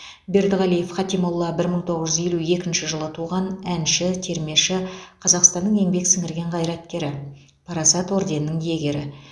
бердіғалиев хатимолла бір мың тоғыз жүз елу екінші жыл туған әнші термеші қазақстанның еңбек сіңірген қайраткері парасат орденінің иегері